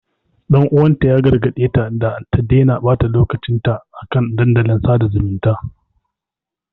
Ɗan uwanta ya gargaɗe ta da ta daina ɓata lokacin ta a kan dandalin sada zumunta.